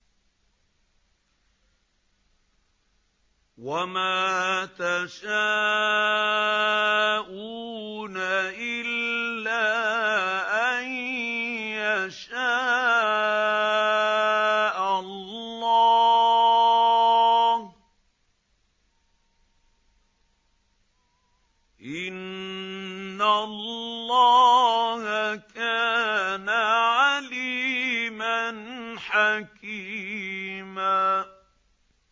وَمَا تَشَاءُونَ إِلَّا أَن يَشَاءَ اللَّهُ ۚ إِنَّ اللَّهَ كَانَ عَلِيمًا حَكِيمًا